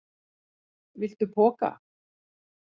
Viltu poka?